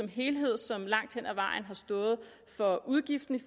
helhed som langt hen ad vejen har stået for udgiften